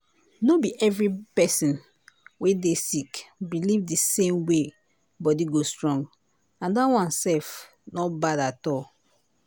nor be every person wey dey sick believe the same way body go strong - that one self not bad at all.